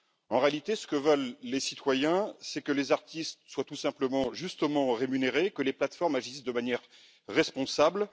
En réalité, ce que veulent les citoyens, c'est que les artistes soient tout simplement justement rémunérés et que les plateformes agissent de manière responsable.